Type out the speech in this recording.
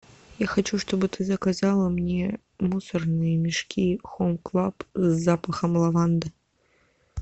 я хочу чтобы ты заказала мне мусорные мешки хоум клаб с запахом лаванды